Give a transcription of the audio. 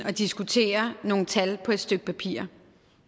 at diskutere nogle tal på et stykke papir